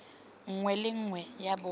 nngwe le nngwe ya botlhe